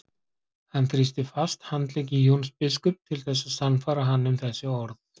Hann þrýsti fast handlegg Jóns biskups til þess að sannfæra hann um þessi orð.